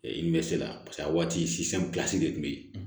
n bɛ se la paseke a waati de tun bɛ yen